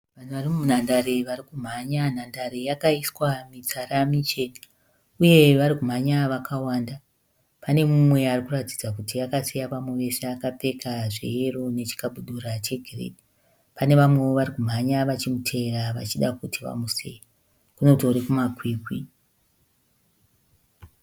Vanhu vari munhandare vari kumhanya. Nhandare yakaiswa mitsara michena. Uye varikumhanya vakawanda . Pane mumwe arikuratidza kuti akasiya vamwe vose akapfeka zveyero nechikabudura che girinhi. Panevamwewo varikumhanya vachimutevera vachida kuti vamusiye. Kunotori kumakwikwi.